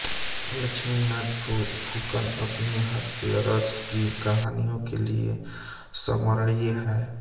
लक्ष्मीनाथ फुकन अपनी हास्यरस की कहानियों के लिए स्मरणीय हैं